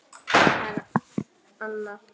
Það er Anna.